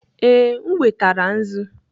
ee, m wetara nzu.